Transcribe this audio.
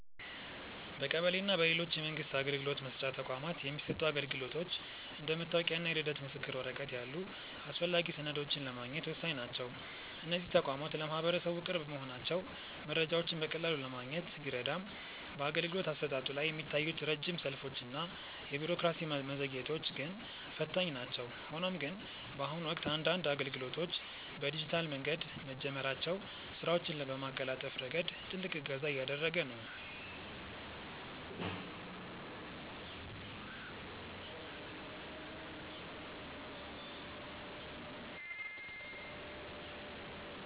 በቀበሌ እና በሌሎች የመንግስት አገልግሎት መስጫ ተቋማት የሚሰጡ አገልግሎቶች እንደ መታወቂያ እና የልደት ምስክር ወረቀት ያሉ አስፈላጊ ሰነዶችን ለማግኘት ወሳኝ ናቸው። እነዚህ ተቋማት ለማህበረሰቡ ቅርብ መሆናቸው መረጃዎችን በቀላሉ ለማግኘት ቢረዳም፣ በአገልግሎት አሰጣጡ ላይ የሚታዩት ረጅም ሰልፎች እና የቢሮክራሲ መዘግየቶች ግን ፈታኝ ናቸው። ሆኖም ግን፣ በአሁኑ ወቅት አንዳንድ አገልግሎቶች በዲጂታል መንገድ መጀመራቸው ስራዎችን በማቀላጠፍ ረገድ ትልቅ እገዛ እያደረገ ነው።